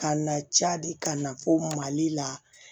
Ka na cadi ka na fo mali la